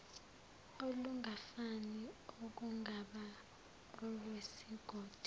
olungafani okungaba olwesigodi